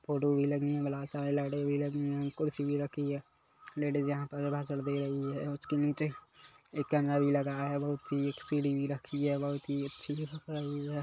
Photo भी लगी है लाइटे भी लगी हुई है कुर्सी भी रखी है लेडिज यहाँ पर भाषण दे रही है उसके नीचे एक कैमरा भी लगा है बहुत सी एक सीढ़ी भी रखी है बहुत ही अच्छी है।